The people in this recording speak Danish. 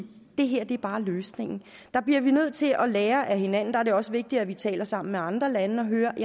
det her bare er løsningen der bliver vi nødt til at lære af hinanden og det også vigtigt at vi taler sammen med andre lande og hører